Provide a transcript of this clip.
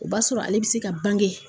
O b'a sɔrɔ ale bɛ se ka bange.